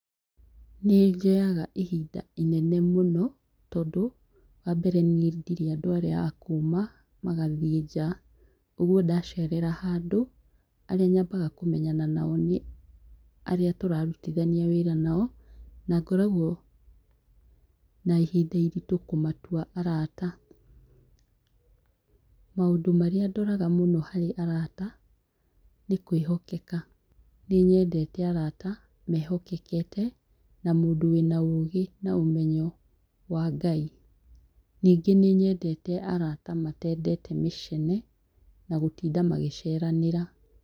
Nĩnjoyaga ihinda inene mũno, tondũ wa mbere niĩ ndirĩ andũ arĩa a kuma magathiĩ nja ũguo ndacerera handũ, arĩa nyambaga kũmenyana nao nĩ arĩa tũrarutithania wĩra nao na ngoragwo na ihinda iritũ kũmatua arata. Maũndũ maria ndoraga mũno harĩ arata nĩ kwihokeka. Nĩ nyendete arata mehokekete na mũndũ wĩna ũgĩ na ũmenyo wa ngai. Ningĩ nĩ nyendete arata matendete mĩcene na gũtinda magĩceranĩra.